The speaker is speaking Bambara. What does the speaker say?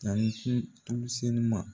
Tanikun tulu senuma